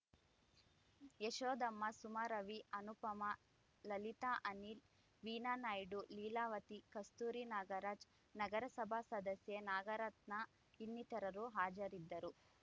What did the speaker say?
ಯಶೋದಮ್ಮ ಸುಮಾ ರವಿ ಅನುಪಮ ಲಲಿತಾ ಅನಿಲ್‌ ವೀಣಾ ನಾಯ್ಡು ಲೀಲಾವತಿ ಕಸ್ತೂರಿ ನಾಗರಾಜ್‌ ನಗರಸಭಾ ಸದಸ್ಯೆ ನಾಗರತ್ನ ಇನ್ನಿತರರು ಹಾಜರಿದ್ದರು